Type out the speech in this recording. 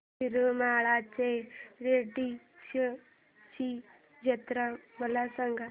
येरमाळ्याच्या येडेश्वरीची जत्रा मला सांग